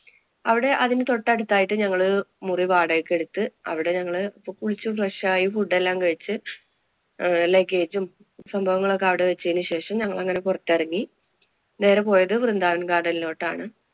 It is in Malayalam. അവിടെ അതിനു തൊട്ടടുത്തായിട്ട് ഞങ്ങള് മുറി വാടകയ്ക്ക് എടുത്ത് അവിടെ ഞങ്ങള് അപ്പൊ കുളിച്ചു fresh ആയി food എല്ലാം കഴിച്ച് അഹ് luggage ഉം സംഭവങ്ങളുമൊക്കെ അവിടെ വച്ചതിനു ശേഷം ഞങ്ങള്‍ അങ്ങനെ പൊറത്തെറങ്ങി നേരെ പോയത് വൃന്ദാവന്‍ garden ലോട്ടാണ്.